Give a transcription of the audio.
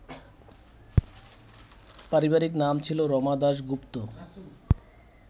পারিবারিক নাম ছিল রমা দাশগুপ্ত